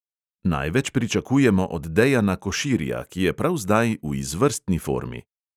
Največ pričakujemo od dejana koširja, ki je prav zdaj v izvrstni formi.